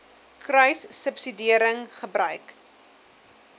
kruissubsidiëringgebruik